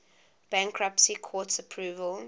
bankruptcy court's approval